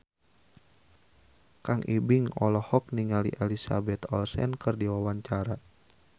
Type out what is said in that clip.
Kang Ibing olohok ningali Elizabeth Olsen keur diwawancara